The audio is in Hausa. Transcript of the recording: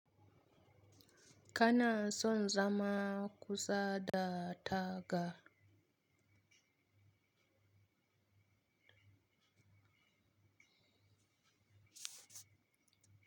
Kana son zama kusa da taga.